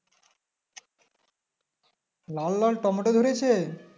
লাল লাল টমেটো ধরেছে